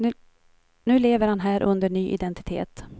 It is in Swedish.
Nu lever han här under ny identitet.